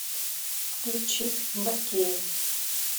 включи бакея